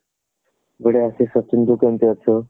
ବଢିଆ ଅଛି ସଚିନ ତୁ କେମତି ଅଛୁ